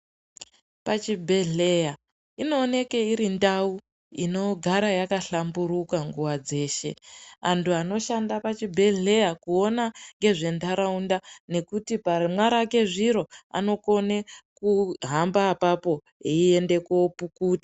Pachibhedhlera inooneka iri ndau inogara yakahlamburuka nguva dzeshe, vantu vanoshanda pachibhedhlera kuona ngezventaraunda nekuti paramwira zviro anogone kuhambe ipapo eiende kunopukuta.